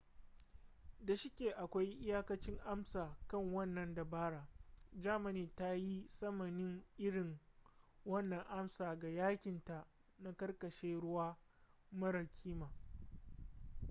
da shike akwai iyakacin amsa kan wannan dabara germany ta yi tsamanin irin wannan amsa ga yakinta na karkashin ruwa mara kima